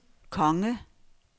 konge